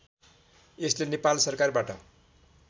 यसले नेपाल सरकारबाट